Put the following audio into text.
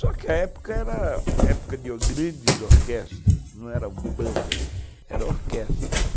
Só que a época era época de grandes orquestras, não eram bandas, eram orquestras.